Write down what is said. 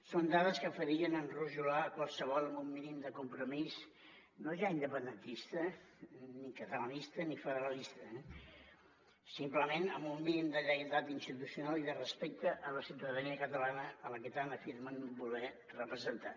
són dades que farien enrojolar qualsevol amb un mínim de compromís no ja independentista ni catalanista ni federalista eh simplement amb un mínim de lleialtat institucional i de respecte a la ciutadania catalana a la que tant afirmen voler representar